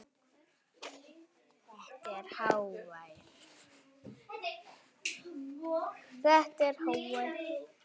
Þetta er hávær